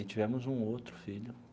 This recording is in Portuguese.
E tivemos um outro filho.